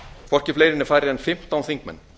hvorki fleiri né færri en fimmtán þingmenn